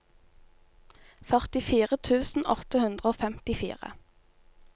førtifire tusen åtte hundre og femtifire